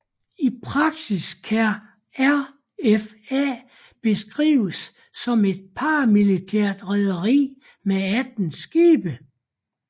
I praksis kan RFA beskrives som et paramilitært rederi med 18 skibe